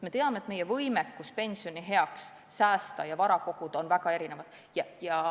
Me teame, et meie võimekus pensionieaks säästa ja vara koguda on väga erinev.